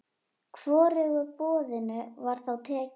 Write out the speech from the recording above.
Hvorugu boðinu var þá tekið.